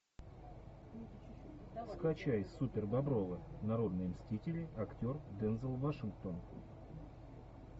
скачай супербобровы народные мстители актер дензел вашингтон